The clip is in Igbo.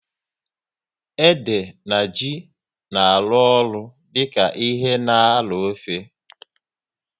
Ede na ji na arụ ọrụ dịka ihe na arọ ofe